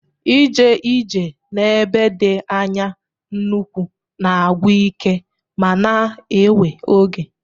Ije ije n'ebe dị anya n'ụkwụ na-agwụ ike ma na-ewe oge